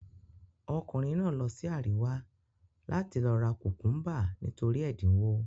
Ọkùnrin náà lọ sí àríwá láti lọ ra kùkúḿbà, nítorí ẹ̀dínwó.